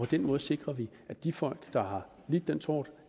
den måde sikrer vi at de folk der har lidt den tort